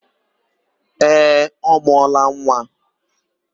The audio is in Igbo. Ee, ọ mụọla nwa.